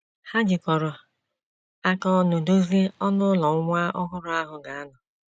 Ha jikọrọ aka ọnụ dozie ọnụ ụlọ nwa ọhụrụ ahụ ga - anọ.